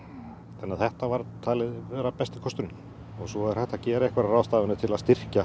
þannig þetta var talið vera besti kosturinn svo er hægt að gera einhverjar ráðstafanir til að styrkja